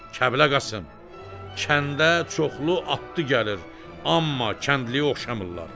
Kəblə Qasım, kəndə çoxlu atlı gəlir, amma kəndliyə oxşamırlar.